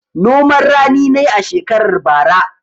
Noman rani na yi a shekarar bara.